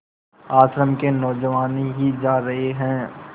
आश्रम के नौजवान ही जा रहे हैं